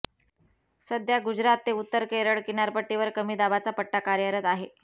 सध्या गुजरात ते उत्तर केरळ किनारपट्टीवर कमी दाबाचा पट्टा कार्यरत आहे